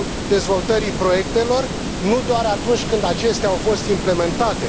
dezvoltării proiectelor, nu doar atunci când acestea au fost implementate.